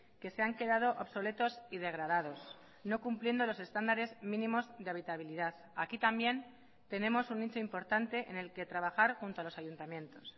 que se han quedado obsoletos y degradados no cumpliendo los estándares mínimos de habitabilidad aquí también tenemos un nicho importante en el que trabajar junto a los ayuntamientos